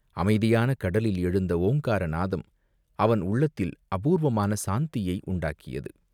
அமைதியான கடலில் எழுந்த ஓங்கார நாதம் அவன் உள்ளத்தில் அபூர்வமான சாந்தியை உண்டாக்கியது.